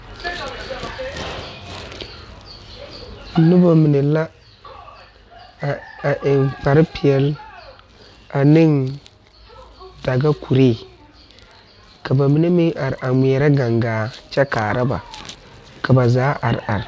Noba mine la a ,a eŋ kpare peɛle ane daga kuri ka ba mine meŋ are a ŋmeɛrɛ gaŋgaare kyɛ kaare ba ka ba zaa are are.